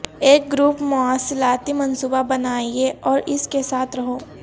ایک گروپ مواصلاتی منصوبہ بنائیں اور اس کے ساتھ رہو